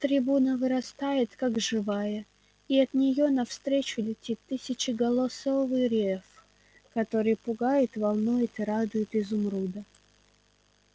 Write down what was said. трибуна вырастает как живая и от неё навстречу летит тысячеголосый рёв который пугает волнует и радует изумруда